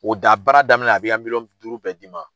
O da baara daminɛ a b'i y'a miliyɔn duuru bɛɛ d'i ma,